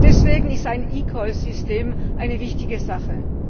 Deswegen ist ein eCall System eine wichtige Sache.